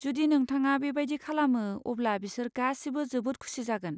जुदि नोंथाङा बेबायदि खालामो अब्ला बिसोर गासिबो जोबोद खुसि जागोन।